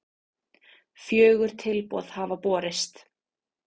Fjögur tilboð hafa borist